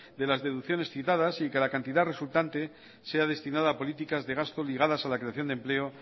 de las deducciones citadas y que la cantidad resultante sea destinada políticas de gasto ligadas a la creación de empleo